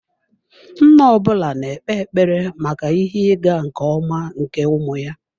Nna ọ bụla na-ekpe ekpere maka ihe ịga nke ọma nke ụmụ ya.